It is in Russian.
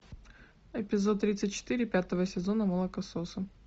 эпизод тридцать четыре пятого сезона молокососы